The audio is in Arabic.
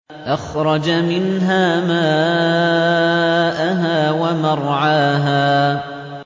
أَخْرَجَ مِنْهَا مَاءَهَا وَمَرْعَاهَا